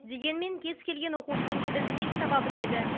дегенмен кез келген оқушының тілін тез таба біледі